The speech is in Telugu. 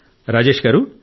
రాజేశ్ గారూ